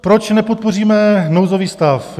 Proč nepodpoříme nouzový stav?